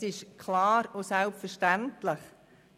Es ist zudem klar und selbstverständlich,